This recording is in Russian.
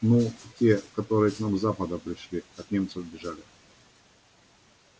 ну те которые к нам с запада пришли от немцев бежали